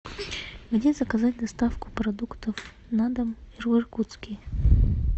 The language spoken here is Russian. где заказать доставку продуктов на дом в иркутске